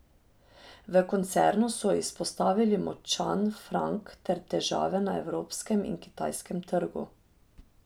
V koncernu so izpostavili močan frank ter težave na evropskem in kitajskem trgu.